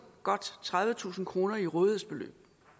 godt tredivetusind kroner i rådighedsbeløb